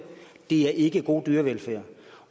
det er ikke god dyrevelfærd